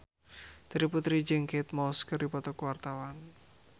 Terry Putri jeung Kate Moss keur dipoto ku wartawan